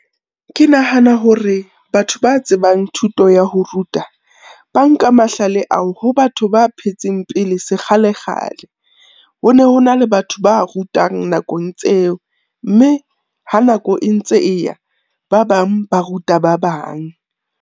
Ke nahana hore batho ba tsebang thuto ya ho ruta, ba nka mahlale ao ho batho ba phetseng pele se kgale-kgale. Ho ne ho na le batho ba rutang nakong tseo mme ha nako e ntse e ya, ba bang ba ruta ba bang.